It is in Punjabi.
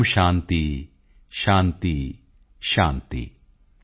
ਓਮ ਸ਼ਾਂਤੀ ਸ਼ਾਂਤੀ ਸ਼ਾਂਤੀ॥